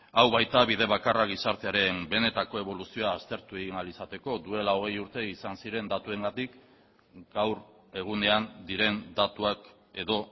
hau baita bide bakarra gizartearen benetako eboluzioa aztertu egin ahal izateko duela hogei urte izan ziren datuengatik gaur egunean diren datuak edo